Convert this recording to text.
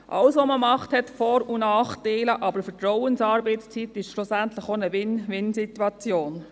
Alles, was man macht, hat Vor- und Nachteile, aber Vertrauensarbeitszeit schafft schlussendlich eine Win-win-Situation.